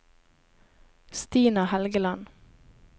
Stina Helgeland